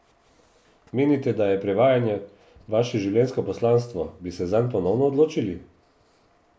Menite, da je prevajanje vaše življenjsko poslanstvo, bi se zanj ponovno odločili?